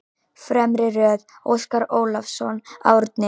Fremri röð: Óskar Ólafsson, Árni